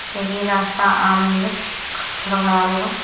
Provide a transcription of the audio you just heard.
क्योंकि ये रास्ता आम नहीं है थोड़ा ख़राब होगा।